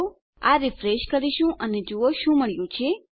હવે આપણે આ રીફ્રેશ કરીશું અને જુઓ આપણને શું મળ્યું છે